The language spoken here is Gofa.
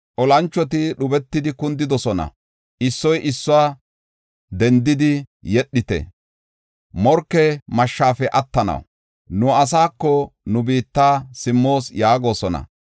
Olanchoti dhubetidi kundidosona; issoy issuwa, “Dendidi yedhite; morke mashshafe attanaw, nu asaako, nu biitta simmoos” yaagosona.